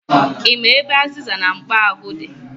Ị ma ebe azịza na mkpo ahụ di?